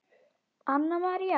Anna María